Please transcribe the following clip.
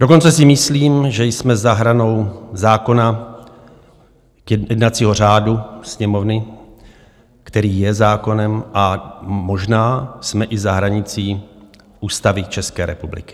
Dokonce si myslím, že jsme za hranou zákona, jednacího řádu Sněmovny, který je zákonem, a možná jsme i za hranicí Ústavy České republiky.